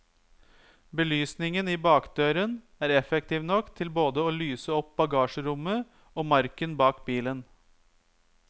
Belysningen i bakdøren er effektiv nok til både å lyse opp bagasjerommet og marken bak bilen.